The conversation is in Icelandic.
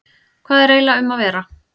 Hvað er eiginlega um að vera?